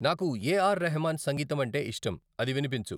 నాకు A R Rahman సంగీతం అంటే ఇష్టం అది వినిపించు